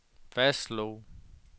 fastslog